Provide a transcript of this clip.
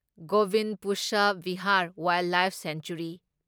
Govind Pashu Vihar wildlife sanctuary